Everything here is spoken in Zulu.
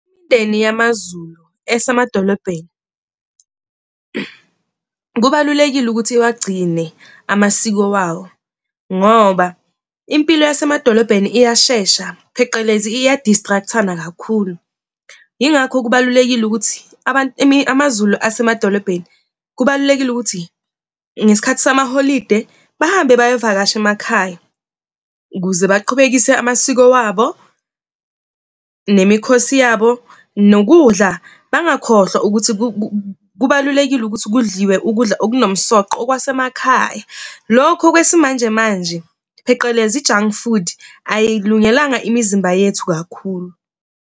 yamaZulu esemadolobheni kubalulekile ukuthi iwagcine amasiko wawo ngoba impilo yasemadolobheni iyashesha pheqelezi iya-distract-ana kakhulu. Yingakho kubalulekile ukuthi amaZulu asemadolobheni kubalulekile ukuthi ngesikhathi samaholide bahambe bayovakasha emakhaya ukuze baqhubekise amasiko wabo nemikhosi yabo, nokudla, bangakhohlwa ukuthi kubalulekile ukuthi kudliwe ukudla okunomsoqo okwasemakhaya. Lokhu kwesimanjemanje, phecelezi i-junk food ayikulungelanga imizimba yethu kakhulu.